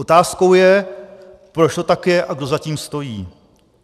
Otázkou je, proč to tak je a kdo za tím stojí.